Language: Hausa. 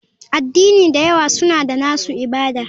Addini da yawa suna da nasu ibada.